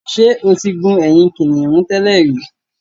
Ṣé o ti gun ẹ̀yìn kìnnìún tẹ́lẹ̀ rí.